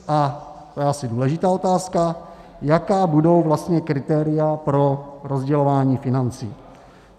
A - to je asi důležitá otázka - jaká budou vlastně kritéria pro rozdělování financí?